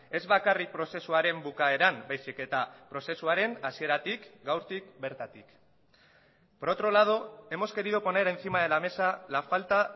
ez bakarrik prozesuaren bukaeran baizik eta prozesuaren hasieratik gaurtik bertatik por otro lado hemos querido poner encima de la mesa la falta